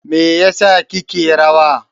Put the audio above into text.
me yasa kike rawa?